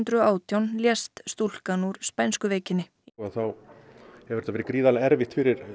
og átján lést stúlkan úr spænsku veikinni þá hefur þetta verið gríðarlega erfitt fyrir